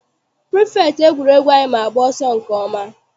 Pirifektị egwuregwu anyị ma agba ọsọ nke ọma.